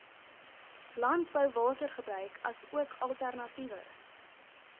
landbouwatergebruik asook alternatiewe